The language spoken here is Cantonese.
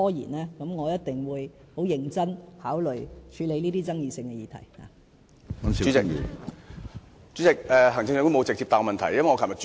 這樣的話，我一定會認真考慮處理這些具爭議性的議題。